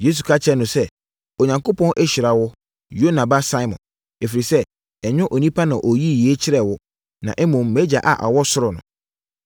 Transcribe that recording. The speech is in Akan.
Yesu ka kyerɛɛ no sɛ, “Onyankopɔn ahyira wo, Yona ba Simon. Ɛfiri sɛ, ɛnyɛ onipa na ɔyii yei kyerɛɛ wo, na mmom, mʼagya a ɔwɔ ɔsoro no.